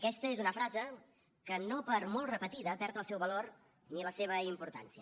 aquesta és una frase que no per molt repetida perd el seu valor ni la seva importància